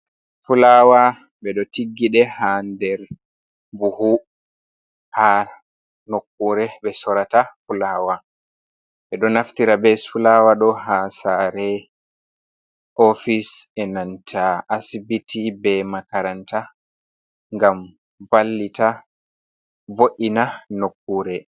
Fulawa ɓeɗo tiggiɗe ha nder buhu ha nokkure ɓe sorata fulawa ɓeɗo naftira be fulawa ɗo ha sare ofis be nanta asibiti be makaranta ngam vallita vo’ina nokkure.